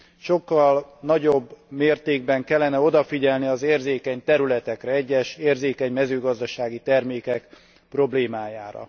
Sokkal nagyobb mértékben kellene odafigyelni az érzékeny területekre, egyes érzékeny mezőgazdasági termékek problémájára.